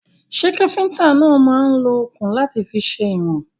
Ṣẹ́ káfíntà náà máà ń lo òkun láti fi sèwọ̀n?